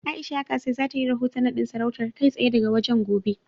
A'isha Yakasai za ta yi rahoton naɗin sarautar, kai tsaye daga wajen, gobe.